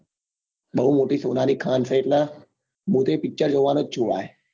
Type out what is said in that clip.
બઉ મોટી સોના ની ખાન છે એટલે મુ બી picture જોવાનો જ છું ભાઈ